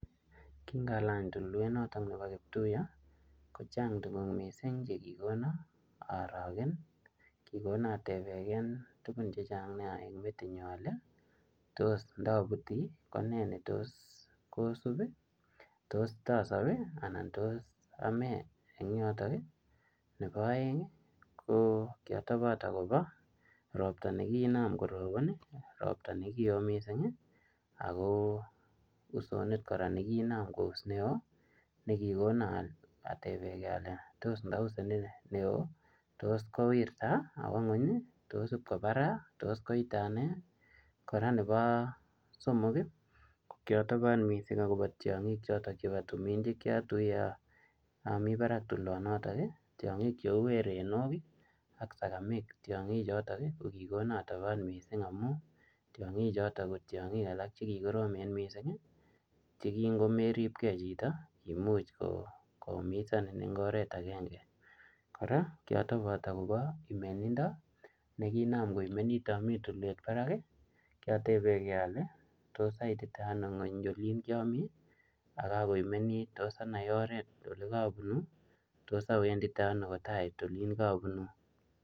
Kingalany tulwenotok nebo kiptuya kochang tuguk chekikono aoorogen.